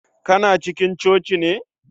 Kana cikin coci ne